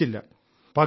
പക്ഷേ ഫലിച്ചില്ല